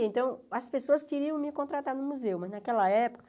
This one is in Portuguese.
então as pessoas queriam me contratar no museu, mas naquela época...